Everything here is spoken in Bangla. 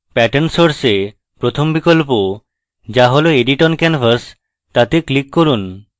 pattern source এ প্রথম বিকল্প যা হল edit oncanvas তাতে click করুন